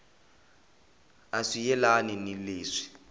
a swi yelani ni leswi